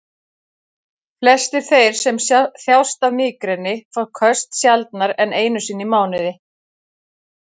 Flestir þeir sem þjást af mígreni fá köst sjaldnar en einu sinni í mánuði.